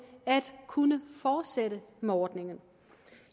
at kunne fortsætte med ordningen